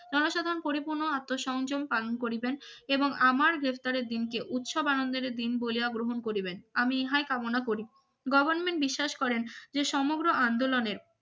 জনসাধারণ পরিপূর্ণ আত্ম সংযোগ পালন করিবেন এবং আমার গ্রেফতারের দিনকে উৎসব আনন্দের দিন বলিয়া গ্রহণ করিবেন আমি ইহায় কামনা করি government বিশ্বাস করেন যে সমগ্র আন্দোলনে